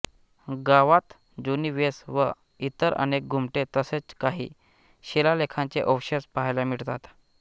गावात जुनी वेस व इतर अनेक घुमटे तसेच काही शिलालेखांचे अवशेष पाहायला मिळतात